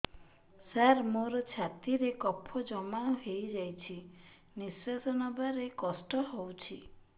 ସାର ମୋର ଛାତି ରେ କଫ ଜମା ହେଇଯାଇଛି ନିଶ୍ୱାସ ନେବାରେ କଷ୍ଟ ହଉଛି